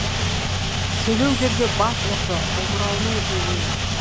селеу жерге бас ұрды омырауының желінен